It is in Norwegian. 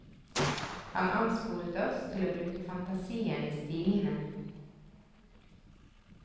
Han ansporet oss til å bruke fantasien i stilene.